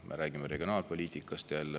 Me räägime regionaalpoliitikast.